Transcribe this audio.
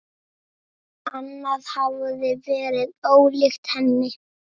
Annað hefði verið ólíkt henni.